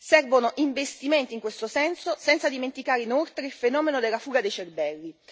Servono investimenti in questo senso, senza dimenticare, inoltre, il fenomeno della fuga dei cervelli.